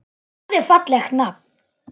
Það er fallegt nafn.